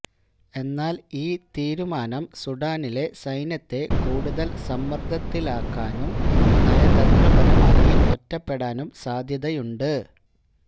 എന്നാല് ഈ തീരുമാനം സുഡാനിലെ സൈന്യത്തെ കൂടുതല് സമ്മര്ദ്ദത്തിലാക്കാനും നയതന്ത്രപരമായി ഒറ്റപ്പെടാനും സാധ്യതയുണ്ട്